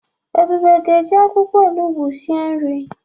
Ebube ga-eji akwụkwọ onugbo esi nri